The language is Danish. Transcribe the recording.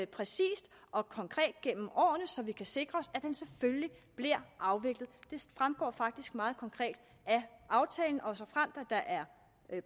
præcist og konkret gennem årene så vi kan sikre os at den selvfølgelig bliver afviklet det fremgår faktisk meget konkret af aftalen og såfremt der er